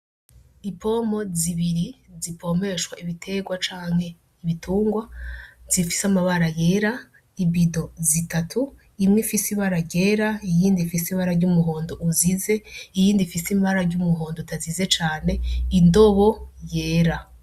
Ipomo zibiri zipomeshwa ibiterwa canke ibitungwa zifise amabara yera ibido zitatu imwe ifise ibara rera iyindi fise ibara ry'umuhondo uzize iyindi ifise imabara ry'umuhondo utazize cane indobo yera.